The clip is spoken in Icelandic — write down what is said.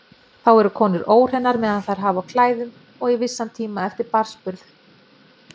Þá eru konur óhreinar meðan þær hafa á klæðum og í vissan tíma eftir barnsburð.